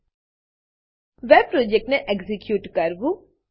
web web પ્રોજેક્ટને execute કરવું